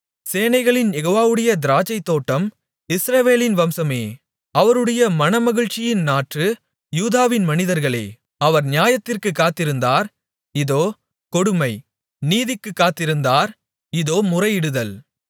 சேனைகளின் யெகோவாவுடைய திராட்சைத்தோட்டம் இஸ்ரவேலின் வம்சமே அவருடைய மனமகிழ்ச்சியின் நாற்று யூதாவின் மனிதர்களே அவர் நியாயத்திற்குக் காத்திருந்தார் இதோ கொடுமை நீதிக்குக் காத்திருந்தார் இதோ முறையிடுதல்